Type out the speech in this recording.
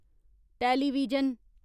television